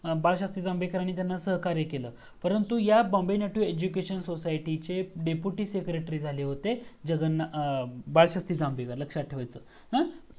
बाळशास्त्री जांभेकर यांना सहकार्य केलं परंतु या Bombay Native Education Society चे डेप्युटी Secretory झाले होते बाळशास्त्री जांभेकर लक्षात ठेवायाच अ